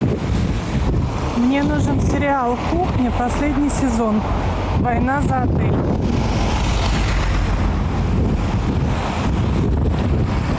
мне нужен сериал кухня последний сезон война за отель